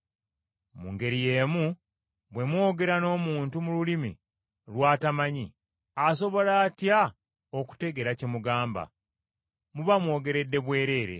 Mu ngeri y’emu, bwe mwogera n’omuntu mu lulimi lw’atamanyi, asobola atya okutegeera kye mugamba? Muba mwogeredde bwereere.